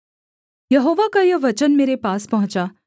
यहोवा का यह वचन मेरे पास पहुँचा